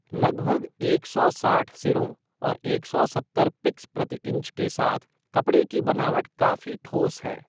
लगभग एक सौ साठ सिरों और एक सौ सत्तर पिक्स प्रति इंच के साथ कपड़े की बनावट काफ़ी ठोस है।